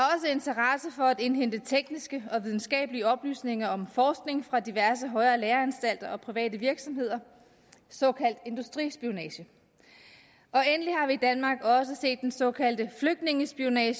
interesse for at indhente tekniske og videnskabelige oplysninger om forskning fra diverse højere læreanstalter og private virksomheder såkaldt industrispionage endelig har vi i danmark også set den såkaldte flygtningespionage